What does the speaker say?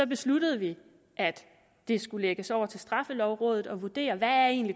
besluttede vi at det skulle lægges over til straffelovrådet at vurdere hvad